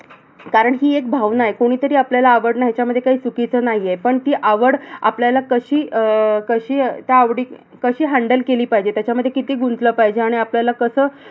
कारण हि एक भावना आहे. कोणीतरी आपल्याला आवडणं ह्याच्यामध्ये काही चुकीचं नाही आहे. पण ती आवड आपल्याला कशी अह कशी त्या आवडी अह कशी handle केली पाहिजे. त्याच्यामध्ये किती गुंतलं पाहिजे? आणि आपल्याला कसं,